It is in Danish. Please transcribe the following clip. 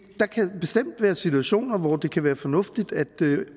der kan bestemt være situationer hvor det kan være fornuftigt